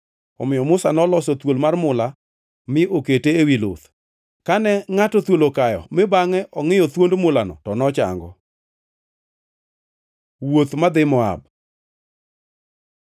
Omiyo Musa noloso thuol mar mula mi okete ewi luth. Kane ngʼato thuol okayo mi bangʼe ongʼiyo thuond mulano to nochango. Wuoth madhi Moab